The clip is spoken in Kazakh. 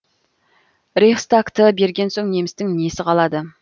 рейхстагты берген соң немістің несі қалады